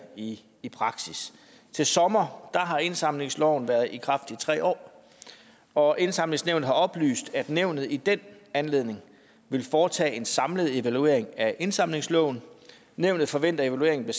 i i praksis til sommer har indsamlingsloven været i kraft i tre år og indsamlingsnævnet har oplyst at nævnet i den anledning vil foretage en samlet evaluering af indsamlingsloven nævnet forventer at evalueringen